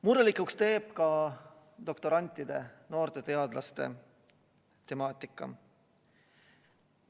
Murelikuks teeb ka doktorantide, noorte teadlaste temaatika.